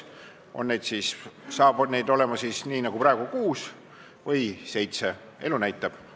" On neid siis edaspidi nagu praegu 6 või siis 7, eks elu näitab.